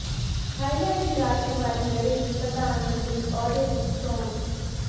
Thailand ਦੀ ਰਾਜਕੁਮਾਰੀ ਲੜੇਗੀ ਪ੍ਧਾਨ ਮੰਤਰੀ ਅਹੁਦੇ ਦੀ ਚੋਣ